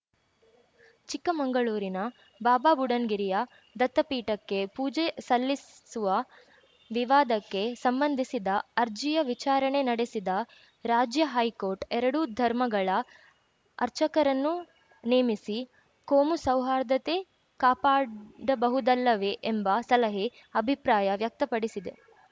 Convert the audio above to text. ಚಿಕ್ಕಮಂಗಳೂರಿನ ಬಾಬಾ ಬುಡನ್‌ಗಿರಿಯ ದತ್ತಪೀಠಕ್ಕೆ ಪೂಜೆ ಸಲ್ಲಿಸುವ ವಿವಾದಕ್ಕೆ ಸಂಬಂಧಿಸಿದ ಅರ್ಜಿಯ ವಿಚಾರಣೆ ನಡೆಸಿದ ರಾಜ್ಯ ಹೈಕೋರ್ಟ್‌ ಎರಡೂ ಧರ್ಮಗಳ ಅರ್ಚಕರನ್ನು ನೇಮಿಸಿ ಕೋಮು ಸೌಹಾರ್ದತೆ ಕಾಪಾಡಬಹುದಲ್ಲವೇ ಎಂಬ ಸಲಹೆ ಅಭಿಪ್ರಾಯ ವ್ಯಕ್ತಪಡಿಸಿದೆ